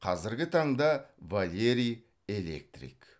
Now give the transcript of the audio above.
қазіргі таңда валерий электрик